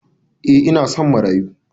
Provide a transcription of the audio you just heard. Eh ina son marayu.